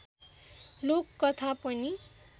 लोक कथा पनि